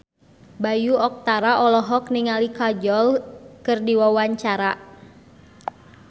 Bayu Octara olohok ningali Kajol keur diwawancara